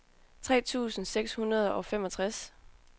tre tusind seks hundrede og femogtres